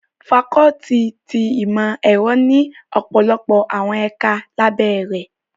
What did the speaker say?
Fakọluti ti Imọ-ẹrọ ni ọpọlọpọ awọn ẹka labẹ rẹ